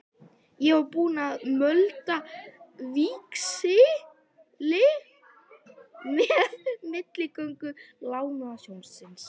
Ég var búinn að möndla víxil með milligöngu Lánasjóðsins.